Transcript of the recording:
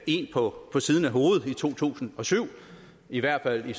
en på siden af hovedet i to tusind og syv i hvert fald